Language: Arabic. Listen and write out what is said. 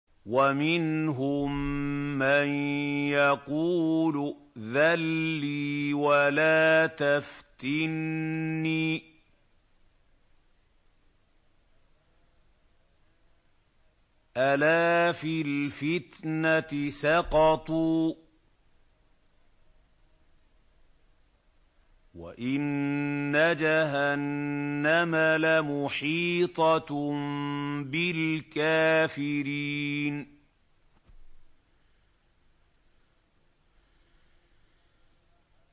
وَمِنْهُم مَّن يَقُولُ ائْذَن لِّي وَلَا تَفْتِنِّي ۚ أَلَا فِي الْفِتْنَةِ سَقَطُوا ۗ وَإِنَّ جَهَنَّمَ لَمُحِيطَةٌ بِالْكَافِرِينَ